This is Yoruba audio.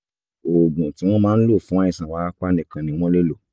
oògùn tí wọ́n máa ń lò fún àìsàn wárápá nìkan ni wọ́n lè lò